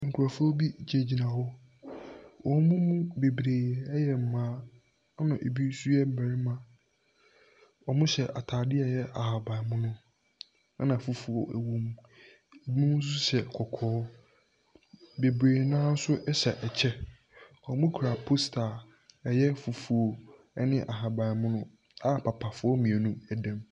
Nkurofoɔ bi gyina gyina hɔ. Ɔmo mu bebree ɛyɛ mmaa. Ɛna ebi nso yɛ mmɛrima. Ɔmo hyɛ atadeɛ a ɛyɛ ahabammono ɛna fufuo ɛwom. Ebinom nso hyɛ kɔkɔɔ. Bebree naa nso ɛhyɛ ɛkyɛ. Ɔmo kura posta a ɛyɛ fufuo ɛne ahabammono a papafoɔ mmienu ɛdam.